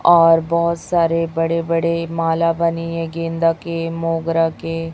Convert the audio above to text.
और बहोत सारे बड़े बड़े माला बनी है गेंदा के मोगरा के--